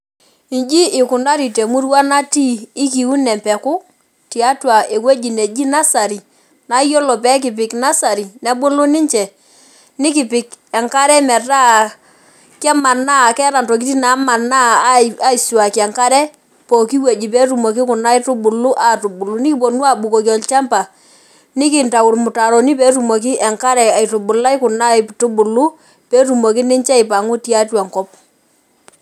Iji ikunari temurua natii, ikiun empeku, tiatua ewueji neji nasari, nayiolo pekipik nasari nebulu ninche, nikipik enkare metaa kemanaa keeta ntokiting namanaa aisuaki enkare, pooki wueji. Petumoki kuna aitubulu atubulu. Nikiponu abukoki olchamba, nikintau irmutaroni petumoki enkare aitubulai kuna aitubulu, petumoki ninche aipang'u tiatua enkop.